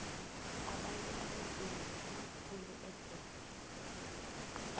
abantu abanzima bathenga khuli ejet